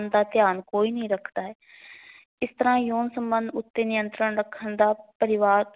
ਦਾ ਧਿਆਨ ਕੋਈ ਨਹੀ ਰੱਖਦਾ ਹੈ। ਇਸ ਤਰਾਂ ਯੋਨ ਸਬੰਧ ਉੱਤੇ ਨਿਯੰਤਰਣ ਰੱਖਣ ਦਾ ਪਰਿਵਾਰ